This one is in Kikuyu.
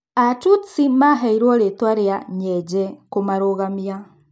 Atutsi maheirwo rĩtwa ria "nyenje" kũmarũgamia.